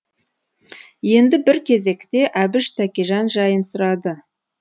енді бір кезекте әбіш тәкежан жайын сұрады